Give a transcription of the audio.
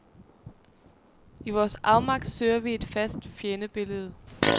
I vores afmagt søger vi et fast fjendebillede.